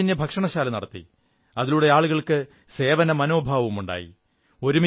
അദ്ദേഹം സൌജന്യഭക്ഷണശാല നടത്തി അതിലൂടെ ആളുകൾക്ക് സേവന മനോഭാവമുണ്ടായി